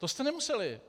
To jste nemuseli.